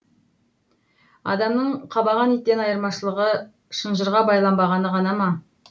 адамның қабаған иттен айырмашылығы шынжырға байланбағаны ғана ма